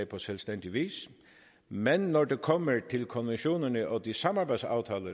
på selvstændig vis men når det kommer til konventionerne og de samarbejdsaftaler